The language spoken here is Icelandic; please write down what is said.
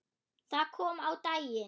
Það kom á daginn að